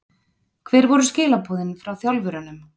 Hver voru skilaboðin frá þjálfurunum?